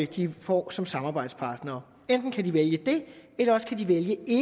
de får som samarbejdspartnere enten kan de vælge det eller også kan de vælge